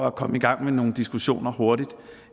at komme i gang med nogle diskussioner hurtigt